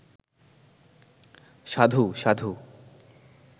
সাধু, সাধু